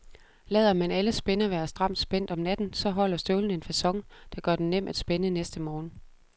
Lader man alle spænder være stramt spændt om natten, så holder støvlen en facon, der gør den nem at spænde næste morgen.